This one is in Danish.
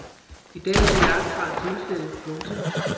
I dag er dette langtfra tilfældet. punktum